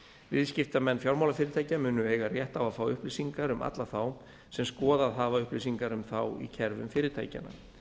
viðskiptamenn fjármálafyrirtækja munu eiga rétt á að fá upplýsingar um alla þá sem skoðað hafa upplýsingar um þá í kerfum fyrirtækjanna